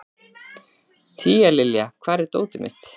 Tíalilja, hvar er dótið mitt?